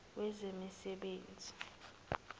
wezemisebenzi